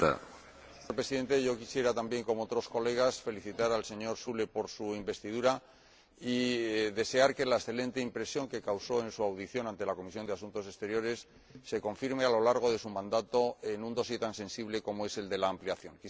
Señor Presidente, yo quisiera también, como otros colegas, felicitar al señor Füle por su investidura, y desear que la excelente impresión que causó en su comparecencia ante la Comisión de Asuntos Exteriores se confirme a lo largo de su mandato en un tan sensible como es el de la ampliación.